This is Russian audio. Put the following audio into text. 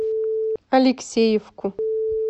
алексеевку